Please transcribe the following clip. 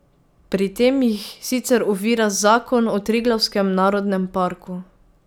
Pri tem jih sicer ovira zakon o Triglavskem narodnem parku.